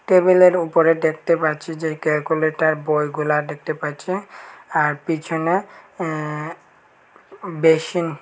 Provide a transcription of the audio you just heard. টেবিলের উপরে দেখতে পাচ্ছি যে ক্যালকুলেটর বইগুলা দেখতে পাচ্ছি আর পিছনে উম বেসিন ।